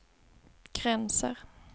gränser